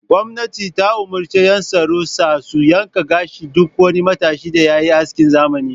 Gwamnati ta umurci yan tsaro sa su yanka gashin duk wani matashin da yayi askin zamani.